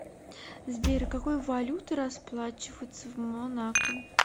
сбер какой валютой расплачиваются в монако